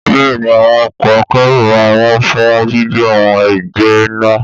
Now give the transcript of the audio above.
Bẹ́ẹ̀ni, àwọn ọkọ̀ akẹ́rù máa ń wọ́n fún gbígbé àwọn ẹgbẹ́ ńlá.